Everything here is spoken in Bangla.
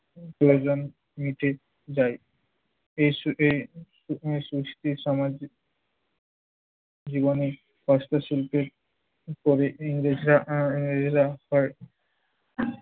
প্রয়োজন মিটে যায়। এইস এ সৃষ্টি সমাজ জীবনে পাশ্চাত্য শিল্পের পরে ইংরেজরা আহ ইংরেজরা পরে